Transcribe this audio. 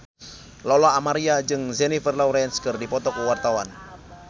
Lola Amaria jeung Jennifer Lawrence keur dipoto ku wartawan